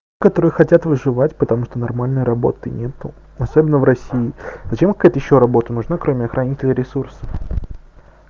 которые хотят выживать потому что нормальной работы нет особенно в россии зачем какая-то ещё работу можно